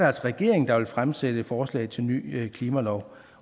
altså regeringen der vil fremsætte et forslag til ny klimalov